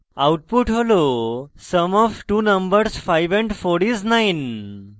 output হলsum of two numbers 5 & 4 is 9